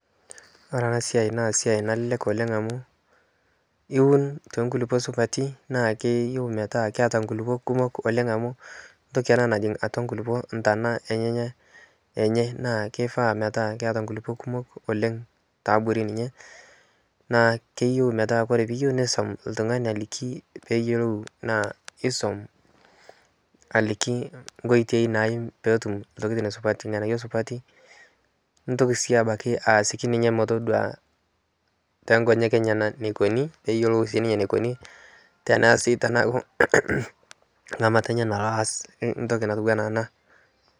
This is a very easy job because you just plant in good soil and wants to be planted in plenty of soil because it grows deep into the soil with its roots and also needs you to teach them a way that best yields the best results and also demonstrate to them how its done so that they know how to do it like you.